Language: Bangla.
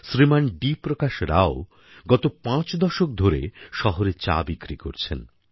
শ্রীমান ডি প্রকাশ রাও গত পাঁচ দশক ধরে শহরে চা বিক্রি করছেন